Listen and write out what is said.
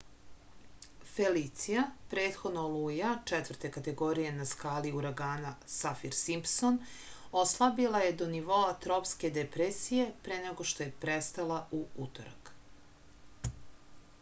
felicija prethodno oluja 4. kategorije na skali uragana safir-simpson oslabila je do nivoa tropske depresije pre nego što je prestala u utorak